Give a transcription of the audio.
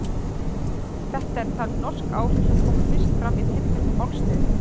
Þetta eru talin norsk áhrif sem komu fyrst fram í tilteknu málsniði.